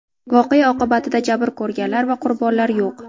Voqea oqibatida jabr ko‘rganlar va qurbonlar yo‘q.